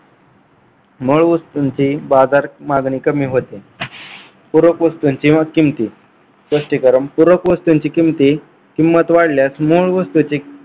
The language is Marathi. मूळ वस्तूंची बाजार मागणी कमी होते. पूरक वस्तूंची व किमती स्पष्टीकरण पूरक वस्तूंची किंमती किंमत वाढल्यास मूळ वस्तूची